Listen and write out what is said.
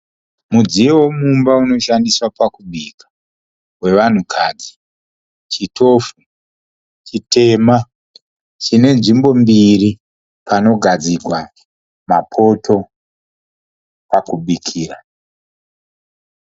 Mudziyo yemumba unoshandiswa pakubika, wevanhukadzi. Chitofu chitema, chine nzvimbo mbiri panogadzikwa mapoto pakubikira.